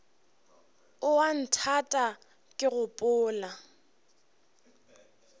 o a nthata ke gopola